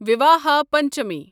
Vivaha Panchami